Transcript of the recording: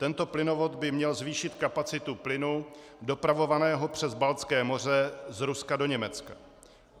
Tento plynovod by měl zvýšit kapacitu plynu dopravovaného přes Baltské moře z Ruska do Německa.